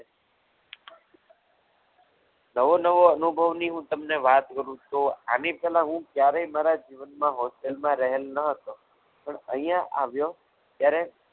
નવો નવો અનુભવની હું તમને વાત કરું તો આની પહેલા હું ક્યારેય મારા જીવનમાં hostel માં રહેલ ન હતો પણ અહીંયા આવ્યો ત્યારે